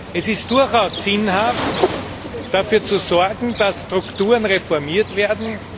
Es ist durchaus sinnhaft, dafür zu sorgen, dass Strukturen reformiert werden.